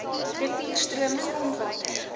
rivier stroom grondwater